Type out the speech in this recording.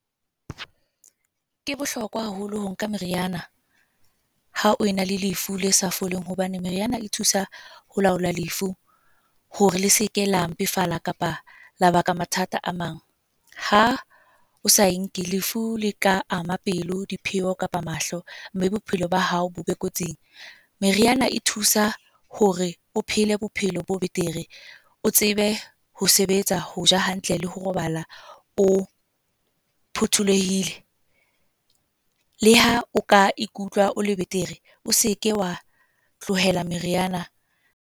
Ke bohlokwa haholo ho nka meriana ha o ena le lefu le sa foleng. Hobane meriana e thusa ho laola lefu, hore le seke la mpefala kapa la baka mathata a mang. Ha o sa e nke lefu le tla ama pelo, diphio, kapa mahlo. Mme bophelo ba hao bo be kotsing. Meriana e thusa hore o phele bophelo bo betere. O tsebe ho sebetsa, ho ja hantle, le ho robala o phuthulehile. Le ha o ka ikutlwa o le betere, o seke wa tlohela meriana.